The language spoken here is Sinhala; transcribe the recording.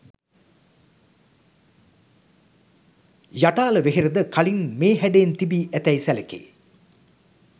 යටාල වෙහෙරද කලින් මේ හැඩයෙන් තිබී ඇතැයි සැලකේ.